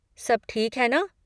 सब ठीक है ना?